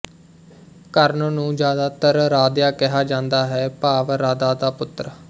ਕਰਨ ਨੂੰ ਜ਼ਿਆਦਾਤਰ ਰਾਧਿਆ ਕਿਹਾ ਜਾਂਦਾ ਹੈ ਭਾਵ ਰਾਧਾ ਦਾ ਪੁੱਤਰ